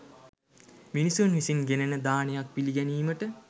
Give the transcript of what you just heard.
මිනිසුන් විසින් ගෙනෙන දානයක් පිළිගැනීමට